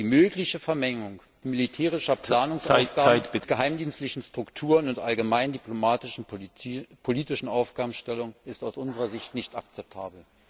Die mögliche Vermengung militärischer Planungsaufgaben mit geheimdienstlichen Strukturen und allgemeinen diplomatischen und politischen Aufgabenstellungen ist aus unserer Sicht nicht akzeptabel.